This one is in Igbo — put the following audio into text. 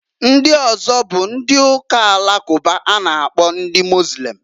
Ndị ọzọ bụ ndị Uka Alakụba a na -akpọ ndị Mozlem.